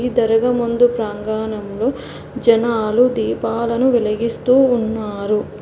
త్వరగా ముందు ప్రాంగణంలో జనాలు దీపాలను వెలిగిస్తూ ఉన్నారు.